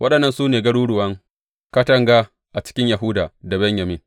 Waɗannan su ne garuruwan katanga a cikin Yahuda da Benyamin.